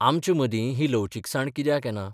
आमचे मदी ही लवचीकसाण कित्याक येना?